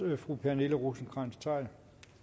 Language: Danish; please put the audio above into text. fru pernille rosenkrantz theil